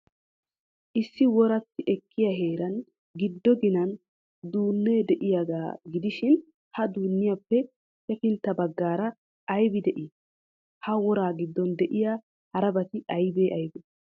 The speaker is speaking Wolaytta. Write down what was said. Issi woratti ekkiya heeran giddo ginan duunnee de'iyaaga gidishin, he duunniyaappe hefintta baggaara aybi de'ii? Ha woraa giddon de'iya harabati aybee aybee?